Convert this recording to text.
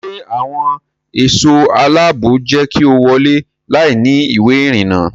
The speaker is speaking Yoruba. Ṣé àwọn ẹ̀ṣọ́ aláàbò jẹ́ kí o wọ́lé láìní ìwé ìrìnnà?